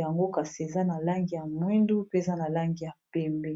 yango kasi eza na langi ya mwindu pe na langi ya pembe.